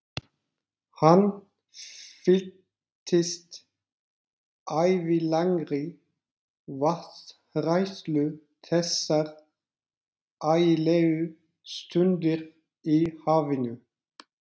Hann fylltist ævilangri vatnshræðslu þessar ægilegu stundir í hafinu.